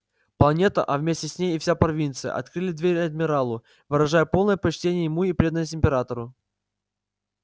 планета а вместе с ней и вся провинция открыли двери адмиралу выражая полное почтение ему и преданность императору